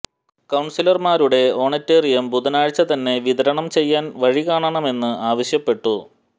കൌൺസിലർമാരുടെ honorarium ബുധനാഴ്ച്ച തന്നെ വിതരണം ചെയ്യാൻ വഴി കാണണമെന്ന് ആവശ്യപ്പെട്ടു